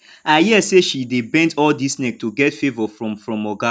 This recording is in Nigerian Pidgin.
i hear say she dey bend all dis neck to get favour from from oga